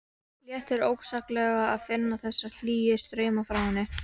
Léttir ósegjanlega að finna þessa hlýju strauma frá henni.